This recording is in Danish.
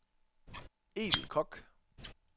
Edel Kock